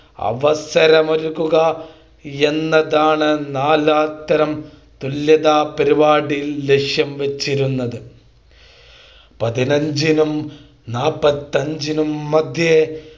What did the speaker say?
അവസരം ഒരുക്കുക എന്നതാണ് നാലാംതരം തുല്യതാ പരിപാടിയിൽ ലക്ഷ്യം വച്ചിരുന്നത് പതിനഞ്ചിനും നാൽപത്തിയഞ്ചിനും മദ്ധ്യേ